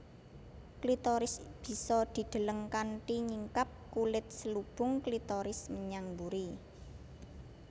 Klitoris bisa dideleng kanthi nyingkap kulit selubung klitoris menyang mburi